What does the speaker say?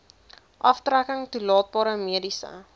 aftrekking toelaatbare mediese